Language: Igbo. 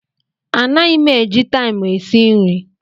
Anaghị m eji taịmụ esi nri.